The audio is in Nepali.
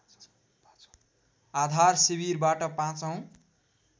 आधार शिविरबाट पाचौँ